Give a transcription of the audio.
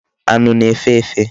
Anu na-efe efe.